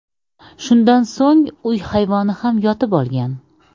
Shundan so‘ng uy hayvoni ham yotib olgan.